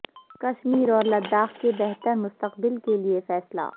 کشمیر اور لداخ کے بہتر مستقبل کے لئے فیصلہ